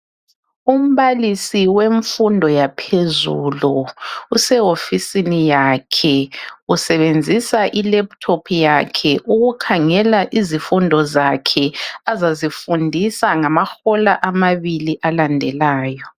Umbalisi wemfundo yaphezulu usehofisini yakhe . Usebenzisa ilaptop yakhe ukukhangela izifundo zakhe azazifundisa ngamahola amabili alandelayo.